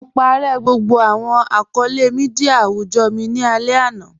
Mo pàárẹ̀ gbogbo awọn akọọlẹ̀ míḍíà awùjọ́ mi ni alẹ̀ ana.